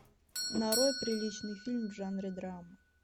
нарой приличный фильм в жанре драма